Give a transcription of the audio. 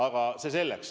Aga see selleks.